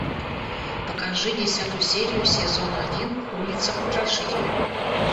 покажи десятую серию сезона один улица потрошителя